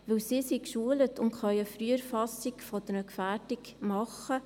Denn dieses ist geschult und kann eine Früherfassung einer Gefährdung machen.